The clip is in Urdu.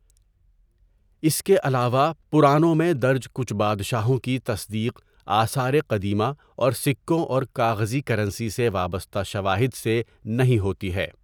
اس کے علاوہ، پرانوں میں درج کچھ بادشاہوں کی تصدیق آثار قدیمہ اور سکوں اور کاغذی کرنسی سے وابستہ شواہد سے نہیں ہوتی ہے۔